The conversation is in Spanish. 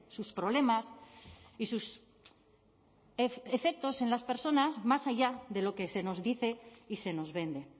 sus problemas y sus efectos en las personas más allá de lo que se nos dice y se nos vende